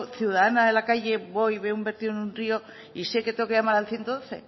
ciudadana de la calle voy veo un vertido en un río y sé que tengo que llamar al ciento doce